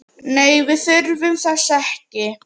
Nei, við þurfum þess ekki.